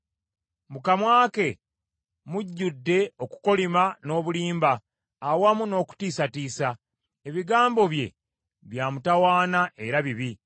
Mu kamwa ke mujjudde okukolima n’obulimba awamu n’okutiisatiisa; ebigambo bye bya mutawaana era bibi.